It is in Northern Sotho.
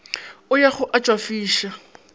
a ya go a tšwafiša